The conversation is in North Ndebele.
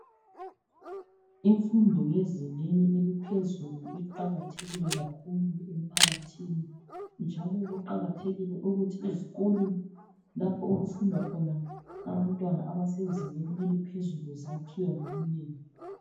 Imfundo yezingeni eliphezulu iqakathekile kakhulu emphakathini njalo kuqakathekile ukuthi izikolo lapho okufunda khona abantwana abasezingeni eliphezulu zakhiwe ngobunengi.